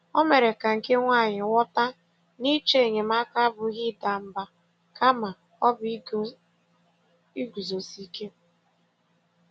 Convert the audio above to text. O mere ka nke nwaanyị ghọta na ịchọ enyemaka abụghị ịda mba, kama ọ bụ iguzosi ike.